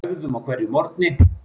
Við æfðum á hverjum morgni.